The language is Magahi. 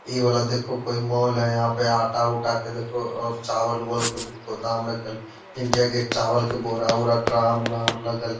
इ वाला देखोह कोय मॉल हेय यहाँ पे आटा उटा के देखोह और चावल उवल के गोदाम रखल इंडिया गेट चावल के बोरा उरा ड्राम उराम लगल --